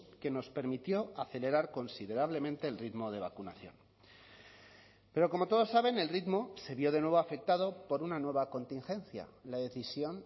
que nos permitió acelerar considerablemente el ritmo de vacunación pero como todos saben el ritmo se vio de nuevo afectado por una nueva contingencia la decisión